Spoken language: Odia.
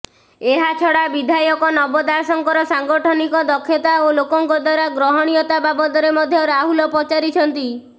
ଏହାଛଡା ବିଧାୟକ ନବ ଦାସଙ୍କର ସାଙ୍ଗଠନିକ ଦକ୍ଷତା ଓ ଲୋକଙ୍କ ଦ୍ୱାରା ଗ୍ରହଣୀୟତା ବାବଦରେ ମଧ୍ୟ ରାହୁଲ ପଚାରିଛନ୍ତି